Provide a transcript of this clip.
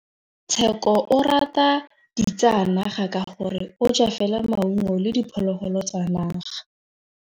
Tshekô o rata ditsanaga ka gore o ja fela maungo le diphologolo tsa naga.